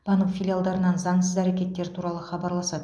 банк филиалдарынан заңсыз әрекеттер туралы хабарласады